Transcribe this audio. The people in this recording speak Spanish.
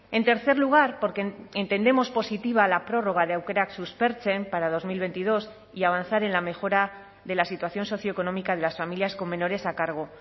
en tercer lugar porque entendemos positiva la prórroga de aukerak suspertzen para dos mil veintidós y avanzar en la mejora de la situación socioeconómica de las familias con menores a cargo